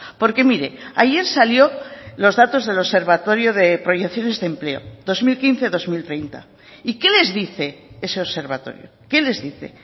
porque mire ayer salió los datos del observatorio de proyecciones de empleo dos mil quince dos mil treinta y qué les dice ese observatorio qué les dice